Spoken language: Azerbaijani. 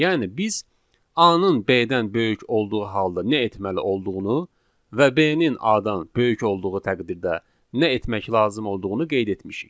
Yəni biz A-nın B-dən böyük olduğu halda nə etməli olduğunu və B-nin A-dan böyük olduğu təqdirdə nə etmək lazım olduğunu qeyd etmişik.